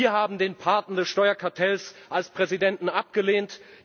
Wir haben den Paten des Steuerkartells als Präsidenten abgelehnt.